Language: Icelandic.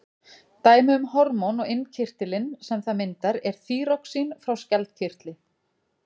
dæmi um hormón og innkirtilinn sem það myndar er þýroxín frá skjaldkirtli